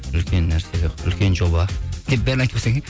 үлкен нәрсе үлкен жоба деп бәрін айтып қойсаң иә